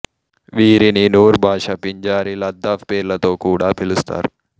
వీరిని నూర్ బాషా పింజారి లదాఫ్ పేర్లతో కూడా పిలుస్తారు